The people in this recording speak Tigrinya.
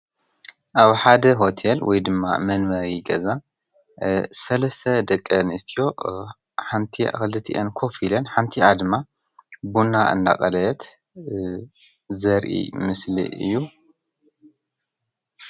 ኣብ ሓደ ሆቴል ወይ ድማ መንበሪ ገዛ ሰለስተ ደቂ ኣንስትዮ ሓንቲኣ ክልቲኤን ኮፍ ኢለን ሓንቲኣ ድማ ቡና እናቆለየት ዘርኢ ምስሊ እዩ፡፡